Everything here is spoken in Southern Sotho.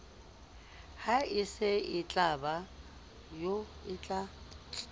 ha e se e otla